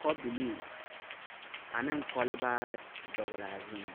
kobilii aneŋ kɔlbaarre dɔglaa zuŋ.